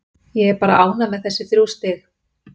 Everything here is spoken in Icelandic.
Ég er bara ánægð með þessi þrjú stig.